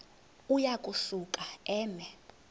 uya kusuka eme